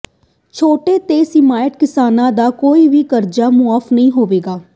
ਛੋਟੇ ਤੇ ਸੀਮਾਂਤ ਕਿਸਾਨਾਂ ਦਾ ਕੋਈ ਵੀ ਕਰਜ਼ਾ ਮੁਆਫ ਨਹੀਂ ਹੋਵੇਗਾ